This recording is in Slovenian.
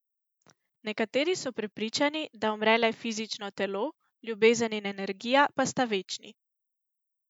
Nekateri so prepričani, da umre le fizično telo, ljubezen in energija pa sta večni.